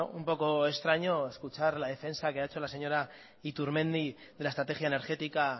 un poco extraño escuchar la defensa que ha hecho la señora iturmendi de la estrategia energética